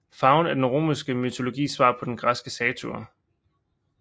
Faun er den romerske mytologis svar på den græske satyr